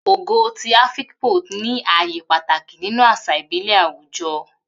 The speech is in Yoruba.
Ogo ti Afikpo ní ààyè pàtàkì nínú àṣà ìbílẹ̀ àwùjọ.